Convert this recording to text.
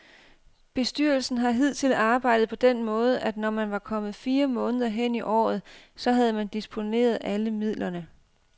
Bestyrelsen har hidtil arbejdet på den måde, at når man var kommet fire måneder hen i året, så havde man disponeret alle midlerne.